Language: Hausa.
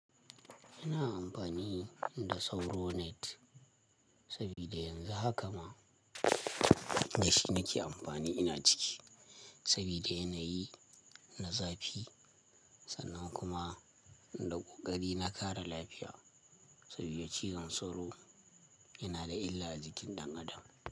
Ina amfani da sauro net sabida yanzu hakama dashi nake amfani ina ciki, sabida yanayi na zafi sannan kuma da ƙoƙari na kare lafiya saboda ciwon sauro yana da illa a jikin ɗan adam.